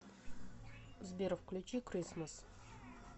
сбер включи крисмас